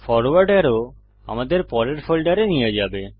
forward আরো আমাদের পরের ফোল্ডারে নিয়ে যাবে